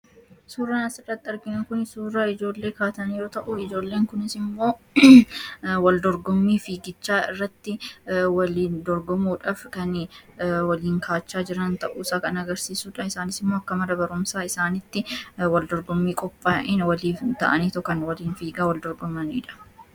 Suuraan asirratti argamu kun suuraa ijoollee taphatanii yoo ta'u, waldorgommii fiigichaarratti waliin dorgomuudhaaf kan waliin kaachaa jiran ta'uusaa kan agarsiisudha. Isaanis akka mana barumsaa isaaniitti dorgommii qophaaye waliin ta'aniitu kan wal dorgomanidha.